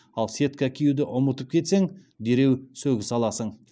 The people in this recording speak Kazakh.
ал сетка киюді ұмытып кетсең дереу сөгіс аласың